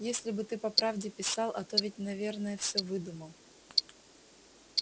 если бы ты по правде писал а то ведь наверное всё выдумал